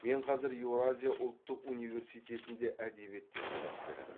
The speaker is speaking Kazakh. мен қазір еуразия ұлттық университетінде әдебиеттен сабақ беремін